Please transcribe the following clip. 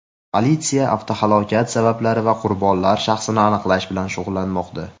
Politsiya avtohalokat sabablari va qurbonlar shaxsini aniqlash bilan shug‘ullanmoqda.